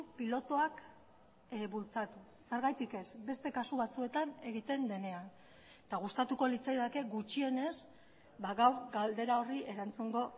pilotuak bultzatu zergatik ez beste kasu batzuetan egiten denean eta gustatuko litzaidake gutxienez gaur galdera horri erantzungo